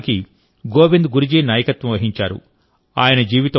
ఈ గిరిజన ఉద్యమానికి గోవింద్ గురు జీ నాయకత్వం వహించారు